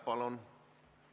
Palun!